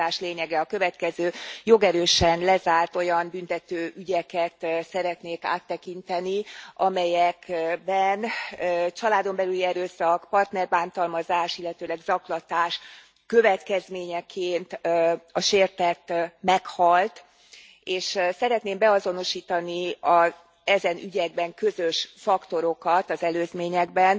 A kutatás lényege a következő jogerősen lezárt olyan büntető ügyeket szeretnék áttekinteni, amelyekben családon belüli erőszak, partnerbántalmazás, illetőleg zaklatás következményeként a sértett meghalt, és szeretném beazonosítani az ezen ügyekben közös faktorokat az előzményekben.